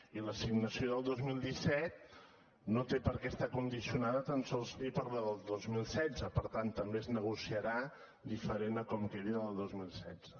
i l’assignació del dos mil disset no té perquè estar condicionada tan sols ni per la del dos mil setze per tant també es negociarà diferent a com quedi la del dos mil setze